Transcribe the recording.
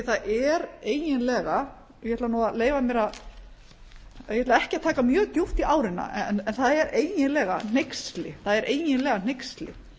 það er eiginlega ég ætla nú að leyfa mér að ég ætla ekki að taka mjög djúpt í ári en það er eiginlega hneyksli það er eiginlega hneyksli